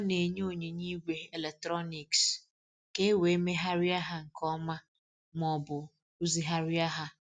Ọ na-enye onyinye igwe eletrọnịks ka e wee megharịa ha nke nke ọma ma ọ bụ rụzigharịa ha.